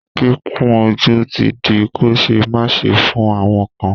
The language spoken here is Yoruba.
Kíkun ojú ti di kò ṣẹ́ máṣe fún àwọn kan.